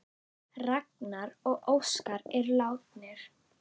Ragnar og Óskar eru látnir.